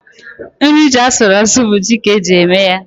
Nri ji asụrụ asụ bụ ji ka eji eme ya.